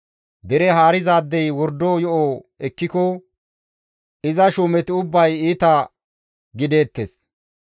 Dere haarizaadey wordo yo7o ekkiko iza shuumeti ubbay iita gideettes.